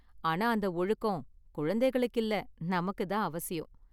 ஆனா அந்த ஒழுக்கம் குழந்தைகளுக்கு இல்ல நமக்கு தான் அவசியம்.